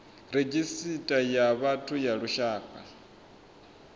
redzhisita ya vhathu ya lushaka